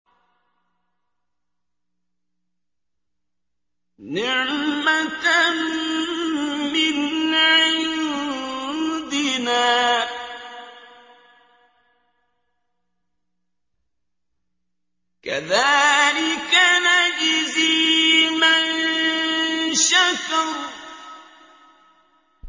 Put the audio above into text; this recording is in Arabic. نِّعْمَةً مِّنْ عِندِنَا ۚ كَذَٰلِكَ نَجْزِي مَن شَكَرَ